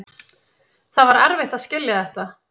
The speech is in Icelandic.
Það var erfitt að skilja þetta.